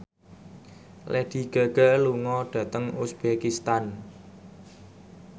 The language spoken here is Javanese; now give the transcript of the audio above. Lady Gaga lunga dhateng uzbekistan